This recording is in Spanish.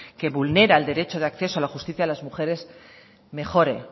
que vulnera el derecho de acceso a la justicia de las mujeres mejore